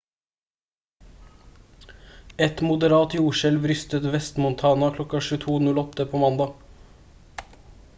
et moderat jordskjelv rystet vest-montana kl. 22:08 på mandag